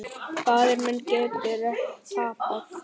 Faðir minn getur ekki tapað.